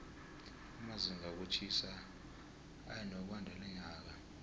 amazinga wokutjhisa eyanokwandalonyaka